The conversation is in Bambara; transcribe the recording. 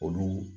Olu